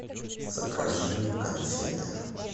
закажи конфеты